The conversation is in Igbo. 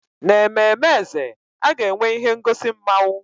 N'ememme eze, a ga-enwe ihe ngosi mmawụ.